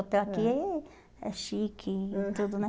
Hotel aqui é é chique e tudo, né?